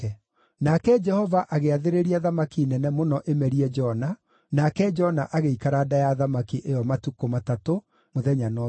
Nake Jehova agĩathĩrĩria thamaki nene mũno ĩmerie Jona, nake Jona agĩikara nda ya thamaki ĩyo matukũ matatũ, mũthenya na ũtukũ.